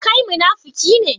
Kai munafiki ne?